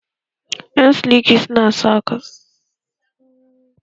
Ƴan siliki suna saƙar s